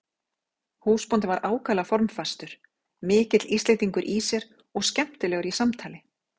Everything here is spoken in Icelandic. Húsbóndinn var ákaflega formfastur, mikill Íslendingur í sér og skemmtilegur í samtali.